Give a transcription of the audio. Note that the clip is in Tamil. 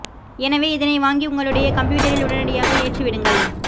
எனவே இதனை வாங்கி உங்களுடைய கம்ப்யூட்டரில் உடனடியாக ஏற்றி விடுங்கள்